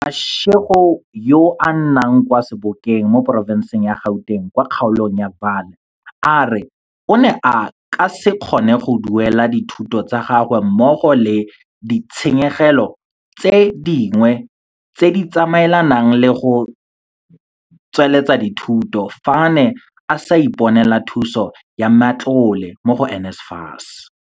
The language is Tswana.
Mashego yo a nnang kwa Sebokeng mo porofenseng ya Gauteng kwa kgaolong ya Vaal a re o ne a ka se kgone go duelela dithuto tsa gagwe mmogo le di tshenyegelo tse dingwe tse di tsamaelanang le go tsweletsa dithuto fa a ne a sa iponela thuso ya matlole mo go NSFAS.